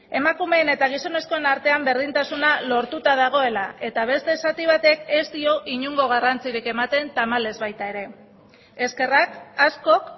emakumeen eta gizonezkoen artean berdintasuna lortuta dagoela eta beste zati batek ez dio inongo garrantzirik ematen tamalez baita ere eskerrak askok